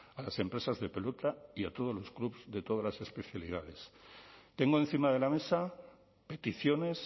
a las empresas de pelota y a todos los clubs de todas las especialidades tengo encima de la mesa peticiones